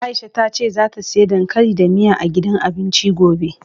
Aisha ta ce zata siya dankali da miya, a gidan abincin gobe.